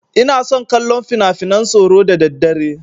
Ina son kallon finafinan tsoro da daddare.